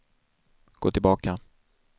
gå tillbaka